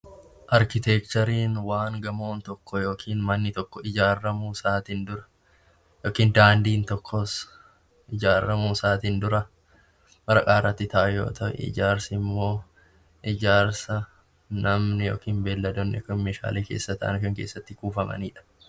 Arkiteekchariin waan gamoon tokko yookiin manni tokko ijaarramuusaatiin dura yookiin daandiin tokkos ijaarramuusaatiin dura waraqaarratti ta'ee jiru yoo ta'u ijaarsimmoo ijaarsa namni yookiin beelladoonni yookiin meeshaan keessa taa'an yookaan itti kuufaman jechuudha.